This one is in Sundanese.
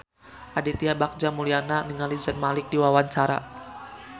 Aditya Bagja Mulyana olohok ningali Zayn Malik keur diwawancara